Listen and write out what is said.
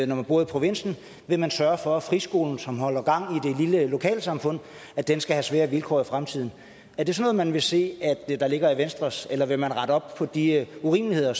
man bor i provinsen vil man sørge for at friskolen som holder gang i det lille lokalsamfund skal have sværere vilkår i fremtiden er det sådan vil se der ligger i venstres forslag eller vil man rette op på de urimeligheder